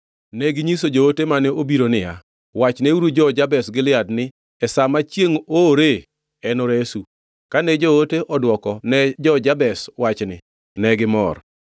Neginyiso joote mane obiro niya, “Wachneuru jo-Jabesh Gilead ni, ‘E sa ma chiengʼ oore, enoresu.’ ” Kane joote odwoko ne jo-Jabesh wachni negimor.